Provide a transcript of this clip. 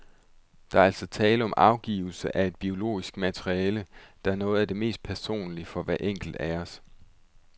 Der er altså tale om afgivelse af et biologisk materiale, der er noget af det mest personlige for hver enkelt af os.